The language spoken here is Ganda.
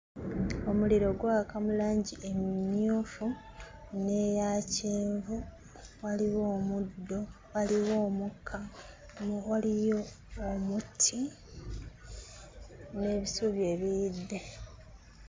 Omuliro gwaka mu langi emmyufu n'eya kyenvu. Waliwo omuddo, waliwo omukka, waliyo omuti n'ebisubi ebiyidde.